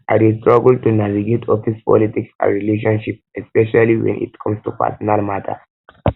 i dey struggle to navigate office politics and relationships especially when it come to personal matters